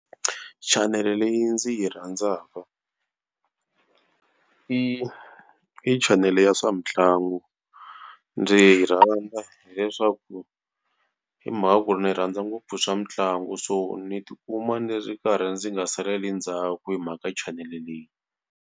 Chanele leyi ndzi yi rhandzaka i i chanele ya swa mitlangu. Ndzi yi rhandza hileswaku hi mhaka ku ri ni rhandza ngopfu swa mitlangu so ni tikuma ni ri karhi ndzi nga saleli ndzhaku hi mhaka chanele leyi.